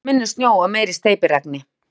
Spáir minni snjó og meira steypiregni